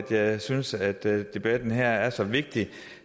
jeg synes at debatten her er så vigtig